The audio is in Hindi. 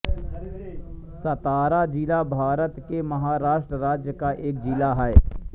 सातारा ज़िला भारत के महाराष्ट्र राज्य का एक ज़िला है